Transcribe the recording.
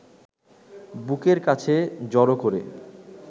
বুকের কাছে জড়ো করে